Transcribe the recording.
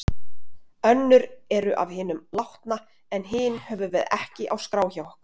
Önnur eru af hinum látna en hin höfum við ekki á skrá hjá okkur.